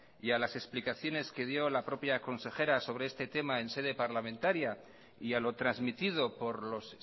y a las explicaciones que dio la propia consejera sobre este tema en sede parlamentaria y a lo trasmitido por los